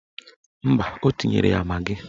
Mba, o tinyere ya magị